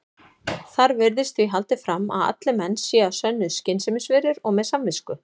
Þar virðist því haldið fram að allir menn séu að sönnu skynsemisverur og með samvisku.